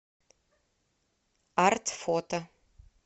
арт фото